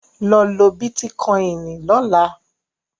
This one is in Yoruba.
Lọ lo Bítíkoìnì lọ́la!